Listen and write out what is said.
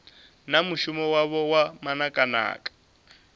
na mushumo wavho wa manakanaka